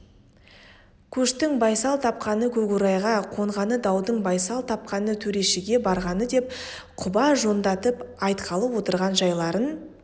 көштің байсал тапқаны көкорайға қонғаны даудың байсал тапқаны төрешіге барғаны деп құба жондатып айтқалы отырған жайларын